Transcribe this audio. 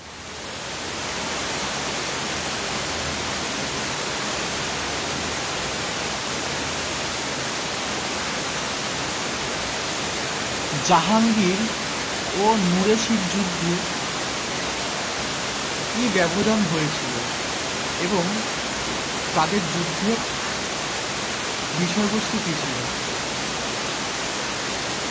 জাহাঙ্গির ও নূরেসির যুদ্ধে কি ব্যবধান হয়েছিল? এবং তাদের যুদ্ধে বিষয় বস্তু কি ছিল?